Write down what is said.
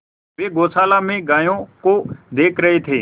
वे गौशाला में गायों को देख रहे थे